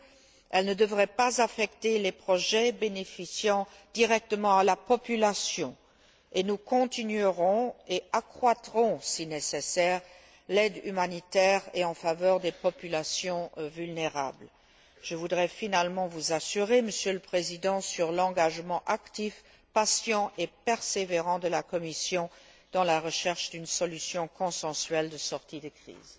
celle ci ne devrait pas affecter les projets bénéficiant directement à la population, et nous poursuivrons et accroîtrons, si nécessaire, l'aide humanitaire en faveur des populations vulnérables. Je voudrais finalement vous assurer, Monsieur le Président, de l'engagement actif, patient et persévérant de la Commission dans la recherche d'une solution consensuelle de sortie de crise.